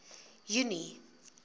junie